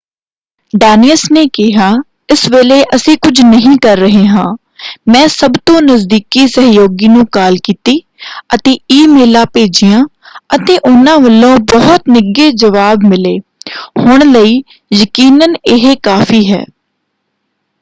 ਡੇਨਿਅਸ ਨੇ ਕਿਹਾ ਇਸ ਵੇਲੇ ਅਸੀਂ ਕੁਝ ਨਹੀਂ ਕਰ ਰਹੇ ਹਾਂ। ਮੈਂ ਸਭ ਤੋਂ ਨਜ਼ਦੀਕੀ ਸਹਿਯੋਗੀ ਨੂੰ ਕਾਲ ਕੀਤੀ ਅਤੇ ਈਮੇਲਾਂ ਭੇਜੀਆਂ ਅਤੇ ਉਹਨਾਂ ਵਲੋਂ ਬਹੁਤ ਨਿੱਘੇ ਜਵਾਬ ਮਿਲੇ। ਹੁਣ ਲਈ ਯਕੀਨਨ ਇਹ ਕਾਫ਼ੀ ਹੈ।